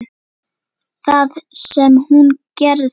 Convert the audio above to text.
Það sem hún gerði